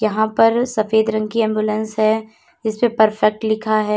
यहां पर सफेद रंग की एंबुलेंस है इसपे परफेक्ट लिखा है।